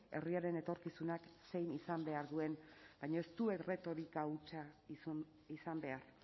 herriaren etorkizunak zein izan behar duen baina ez du erretorika hutsa izan behar